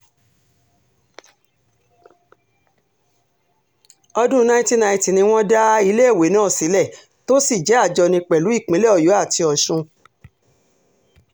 ọdún 1990 ni wọ́n dá iléèwé náà sílẹ̀ tó sì jẹ́ àjọní pẹ̀lú ìpínlẹ̀ ọ̀yọ́ àti ọ̀sùn